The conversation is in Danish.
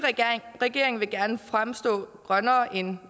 regering vil gerne fremstå grønnere end